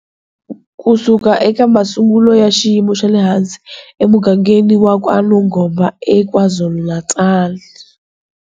Kusuka eka masungulo ya xiyimo xa le hansi emugangeni wa KwaNongoma, eKwaZulu-Natal.